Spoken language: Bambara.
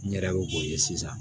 N yɛrɛ y'o o ye sisan